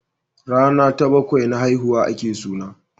Rana ta bakwai na haihuwa a ke suna